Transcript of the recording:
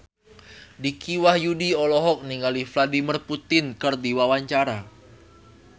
Dicky Wahyudi olohok ningali Vladimir Putin keur diwawancara